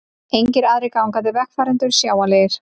Engir aðrir gangandi vegfarendur sjáanlegir.